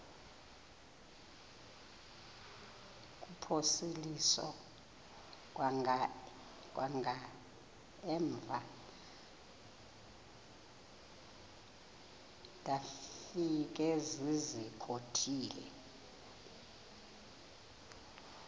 kuphosiliso kwangaemva ndafikezizikotile